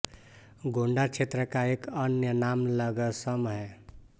गोंडा क्षेत्र का एक अन्य नाम लगसम है